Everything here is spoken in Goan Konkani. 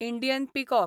Indian peacock